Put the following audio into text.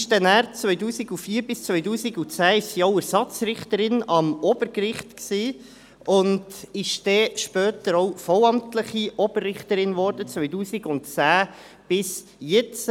Von 2004 bis 2010 war sie auch Ersatzrichterin am Obergericht und wurde später vollamtliche Oberrichterin, 2010 bis jetzt.